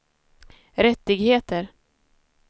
rättigheter